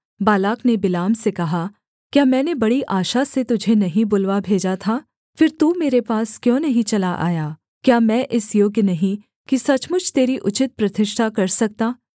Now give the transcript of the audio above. Balak ने Balaam से कहा क्या मैंने बड़ी आशा से तुझे नहीं बुलवा भेजा था फिर तू मेरे पास क्यों नहीं चला आया क्या मैं इस योग्य नहीं कि सचमुच तेरी उचित प्रतिष्ठा कर सकता